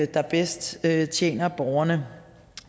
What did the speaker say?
der bedst tjener borgerne